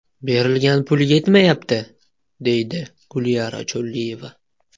Berilgan pul yetmayapti”, deydi Gulyara Cho‘lliyeva.